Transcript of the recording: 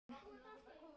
Það sama gildir hér.